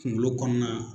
Kunkolo kɔnɔna